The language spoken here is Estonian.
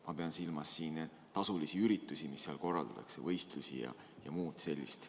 Ma pean silmas siin tasulisi üritusi, mida seal korraldatakse – võistlusi ja muud sellist.